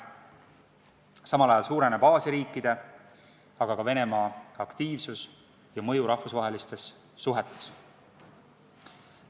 Samal ajal suureneb Aasia riikide, aga ka Venemaa aktiivsus ja mõju rahvusvahelistes suhetes.